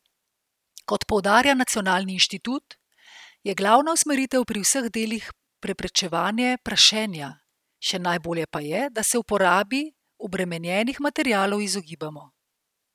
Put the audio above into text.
Kot poudarja nacionalni inštitut, je glavna usmeritev pri vseh delih preprečevanje prašenja, še najbolje pa je, da se uporabi obremenjenih materialov izogibamo.